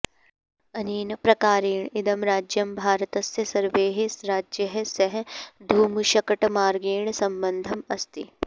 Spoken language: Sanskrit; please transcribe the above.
अनेन प्रकारेण इदं राज्यं भारतस्य सर्वैः राज्यैः सह धूमशकटमार्गेण सम्बद्धम् अस्ति